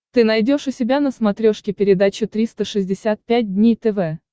ты найдешь у себя на смотрешке передачу триста шестьдесят пять дней тв